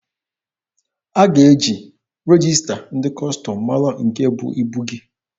A ga-eji regista ndị Kọstọm mara nke bụ ibu gị.